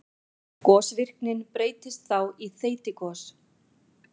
Gosvirknin breytist þá í þeytigos.